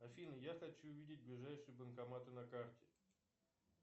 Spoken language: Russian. афина я хочу видеть ближайшие банкоматы на карте